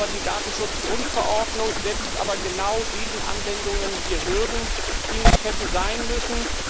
Die Datenschutzgrundverordnung setzt aber genau diesen Anwendungen hier Hürden, die nicht hätten sein müssen.